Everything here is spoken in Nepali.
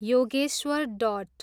योगेश्वर डट